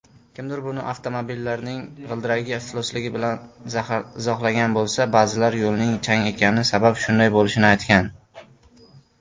Kimdir buni avtomobillarning g‘ildiragi iflosligi bilan izohlagan bo‘lsa, ba’zilar yo‘lning chang ekani sabab shunday bo‘lishini aytgan.